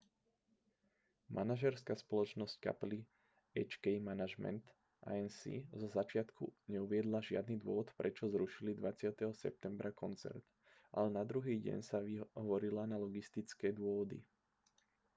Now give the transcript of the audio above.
manažérska spoločnosť kapely hk management inc zo začiatku neuviedla žiadny dôvod prečo zrušili 20. septembra koncert ale na druhý deň sa vyhovorila na logistické dôvody